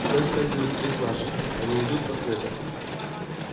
туда стягивают всех наших они идут по следу